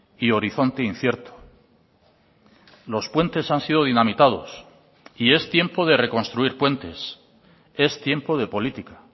y horizonte incierto los puentes han sido dinamitados y es tiempo de reconstruir puentes es tiempo de política